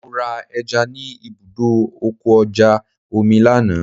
Mo ra ẹja ni ibùdó ọkọ̀ ojú omi lánàá.